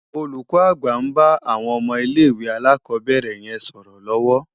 Olúkò ágbà n bá áwòn òmò ilé iwé álákòbèrè yèn sòrò lòwò